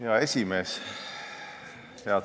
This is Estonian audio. Hea aseesimees!